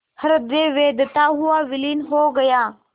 हृदय वेधता हुआ विलीन हो गया